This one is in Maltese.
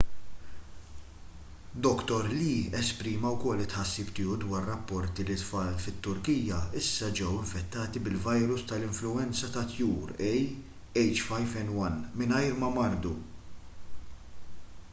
dr lee esprima wkoll it-tħassib tiegħu dwar rapporti li t-tfal fit-turkija issa ġew infettati bil-virus tal-influwenza tat-tjur ah5n1 mingħajr ma mardu